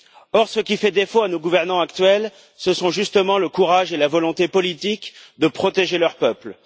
Or, ce qui fait défaut à nos gouvernants actuels, ce sont justement le courage et la volonté politique de protéger leurs peuples.